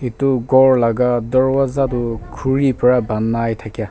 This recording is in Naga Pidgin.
etu kor laga dorwasa doh kuri para bonai takia.